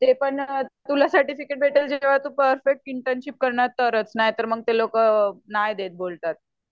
ते पण तुला सर्टिफिकेट भेटेल जेंव्हा तू परफेक्ट इंटर्नशिप करणार तरच नाहीतर नाय ते लोकं नाही देत बोलतात.